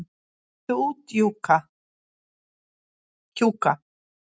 Komdu út, Kjúka.